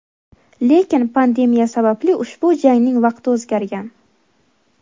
Lekin pandemiya sababli ushbu jangning vaqti o‘zgargan.